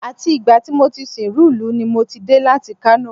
Àti ìgbà tí mo ti sìnrú ìlú ní mo ti dé láti Kano